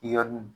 Yɔrɔnin